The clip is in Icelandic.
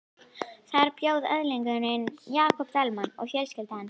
Þar bjó öðlingurinn Jakob Dalmann og fjölskylda hans.